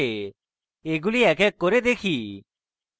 এগুলি এক এক করে দেখি